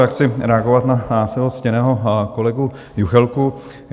Já chci reagovat na svého ctěného kolegu Juchelku.